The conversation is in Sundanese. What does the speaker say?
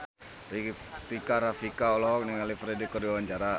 Rika Rafika olohok ningali Ferdge keur diwawancara